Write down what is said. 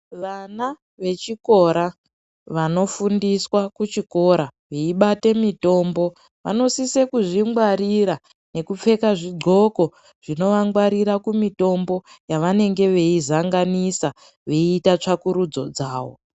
Vana vechikora vanofundiswa kuchikora veibata mitombo vanosisa kuzvingwarira nekupfeka zvigqoko zvinovangwarira kumitombo yavanenge veizanganisa veiita tsvakurudzo dzavo.